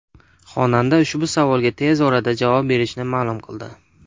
Xonanda ushbu savolga tez orada javob berishini ma’lum qildi.